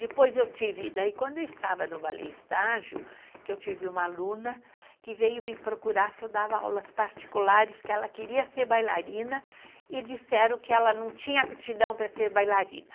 Depois eu tive, daí quando eu estava no ballet estágio, que eu tive uma aluna que veio me procurar se eu dava aulas particulares, que ela queria ser bailarina e disseram que ela não tinha aptidão para ser bailarina.